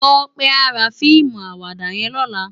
Tope à rá fiimú àwàdá yèn lòlá